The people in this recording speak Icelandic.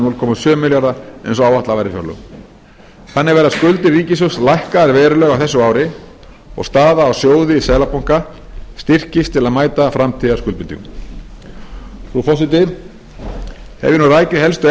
núll komma sjö milljarða eins og áætlað var í fjárlögum þannig verða skuldir ríkissjóðs lækkaðar verulega á þessu ári og staða á sjóði seðlabanka styrkist til að mæta framtíðarskuldbindingum frú forseti hef ég nú rakið helstu